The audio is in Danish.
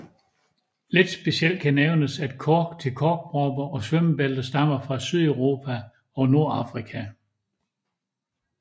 Lidt specielt kan nævnes at kork til korkpropper og svømmebælter stammer fra Sydeuropa og Nordafrika